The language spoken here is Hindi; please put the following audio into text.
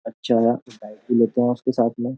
अच्छा भी लेते हैं उसके साथ में --